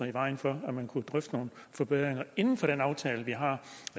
i vejen for at man kunne drøfte nogle forbedringer inden for den aftale vi har